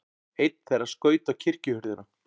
Einn þeirra skaut á kirkjuhurðina.